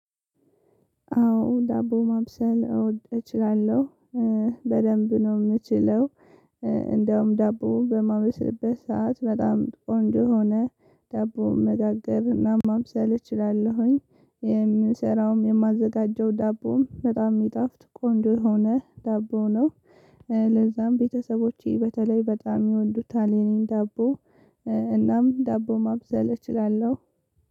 አዎ ዳቦ ማብሰል እወድ እችላለሁ በደንብ ነው የምችለው። እንዲያውም ዳቦ በማበስልበት ሰዓት በጣም ቆንጆ ሆነ ዳቦ መጋገር እና ማብሰል እችላለሁኝ የምሰራውም የማዘጋጀው ዳቦም በጣም የሚጣፍጥ ቆንጆ የሆነ ዳቦ ነው። ለዛም ቤተሰቦቼ በተለይ በጣም ይወዱታል የኔን ዳቦ። እናም ዳቦ ማብሰል እችላለሁ።